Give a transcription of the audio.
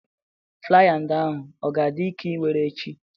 Flaya ndị ahụ ọ ga-adị nke iwere ech?i